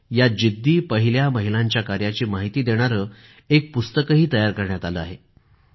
या जिद्दी पहिल्या महिलांच्या कार्याची माहिती देणारे पुस्तकही तयार करण्यात आलं आहे